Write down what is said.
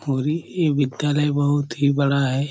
और ई यह विधालय बहुत ही बड़ा है।